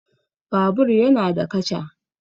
Babur yana da kaca